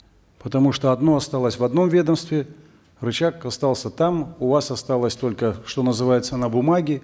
потому что одно осталось в одном ведомстве рычаг остался там у вас осталось только что называется на бумаге